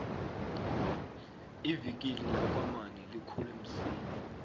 ivikili lakwamani likhule msinya